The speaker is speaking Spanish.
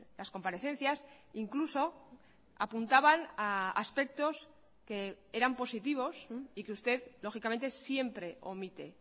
las comparecencias incluso apuntaban a aspectos que eran positivos y que usted lógicamente siempre omite